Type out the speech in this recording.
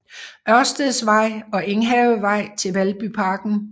Ørsteds Vej og Enghavevej til Valbyparken